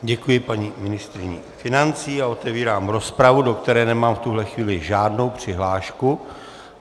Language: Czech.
Děkuji paní ministryni financí a otevírám rozpravu, do které nemám v tuhle chvíli žádnou přihlášku.